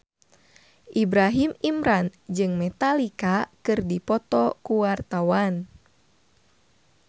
Ibrahim Imran jeung Metallica keur dipoto ku wartawan